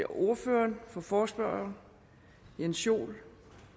ordføreren for forespørgerne jens joel